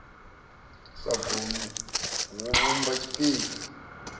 sa gumi hu vhumba tshipiḓa